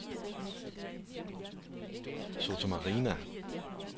Sottomarina